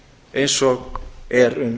eins og er um